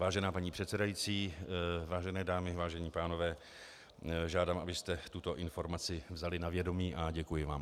Vážená paní předsedající, vážené dámy, vážení pánové, žádám, abyste tuto informaci vzali na vědomí, a děkuji vám.